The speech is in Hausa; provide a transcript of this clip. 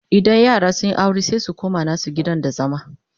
idan yara sunyi aure sai su koma nasu gidan da zama